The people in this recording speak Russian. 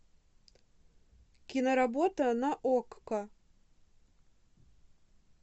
киноработа на окко